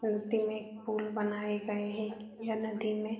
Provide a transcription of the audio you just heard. फूलते में पूल बनाये गए हैं। यह नदी में --